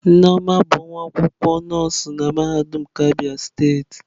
Nneoma bụ nwa akwụkwọ nọọsụ na mahadum nke Abia steeti.